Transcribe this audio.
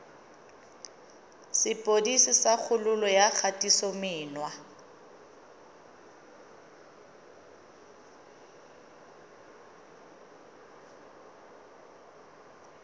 sepodisi sa kgololo ya kgatisomenwa